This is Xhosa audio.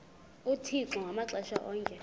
uthixo ngamaxesha onke